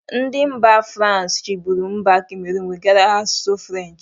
Ndị mba frans chibụru mba kameron wegara ha asụsụ french.